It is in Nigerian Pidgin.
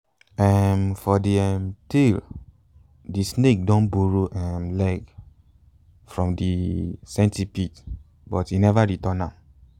um for de um tale de snake don borrow um legs from de centipede but e never return am